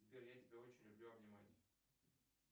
сбер я тебя очень люблю обнимать